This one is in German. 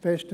Besten